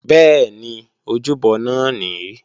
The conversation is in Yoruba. Bẹ́ẹ̀ni, ojúbọ náà nìí